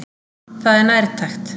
Það er nærtækt.